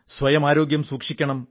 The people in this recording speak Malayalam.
സ്വയം ആരോഗ്യം സൂക്ഷിക്കണം